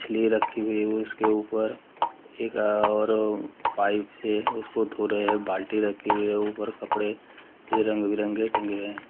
मछली रखी हुई है उसके ऊपर एक और पाइप से उसको धो रहे हैं बाल्टी रखे हुए है ऊपर कपड़े रंग-बिरंगे टंगे हैं।